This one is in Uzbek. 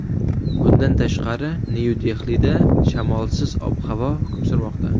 Bundan tashqari Nyu-Dehlida shamolsiz ob-havo hukm surmoqda.